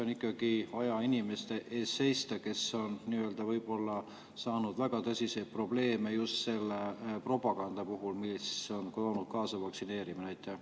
On ikkagi vaja seista inimeste eest, kel on võib-olla tekkinud väga tõsiseid probleeme vaktsineerimise tõttu, mille on toonud kaasa just see propaganda.